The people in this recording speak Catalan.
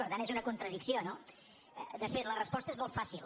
per tant és una contradicció no després la resposta és molt fàcil